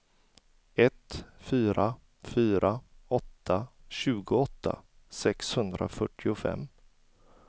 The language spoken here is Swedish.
ett fyra fyra åtta tjugoåtta sexhundrafyrtiofem